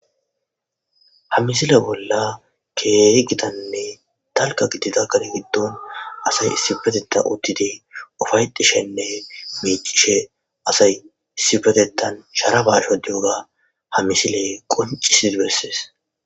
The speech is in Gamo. Ha misle bolla keehi gitanne dalgga gidida gade gidon assay issipetethan uttidi uffaytishene miicishe asay issipetethan sharappa shodiyoga ha misle qonccisidi besses.